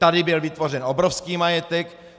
Tady byl vytvořen obrovský majetek!